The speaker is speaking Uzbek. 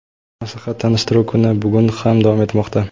maslahat-tanishtiruv kuni bugun ham davom etmoqda.